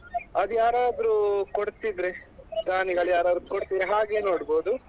ಅದ್ಯಾರಾದ್ರು ಕೊಡ್ತಿದ್ರೆ ದಾನಿಗಳು ಯಾರಾದ್ರೂ ಕೊಡ್ತಿರಾ ಹಾಗೆ ನೋಡ್ಬೋದು.